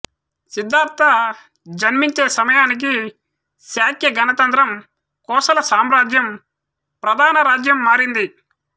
సిద్ధార్థ జన్మించే సమయానికి శాక్య గణతంత్రం కోసల సామ్రాజ్యం ప్రధాన రాజ్యం మారింది